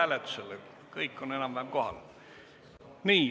Enam-vähem kõik on kohal.